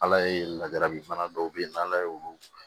Ala ye lajarabi bana dɔw be ye n'ala ye olu